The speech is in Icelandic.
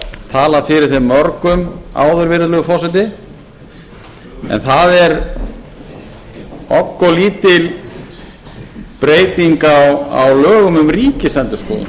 talað fyrir þeim mörgum áður virðulegi forseti en það er obboðlítil breyting á lögum um ríkisendurskoðun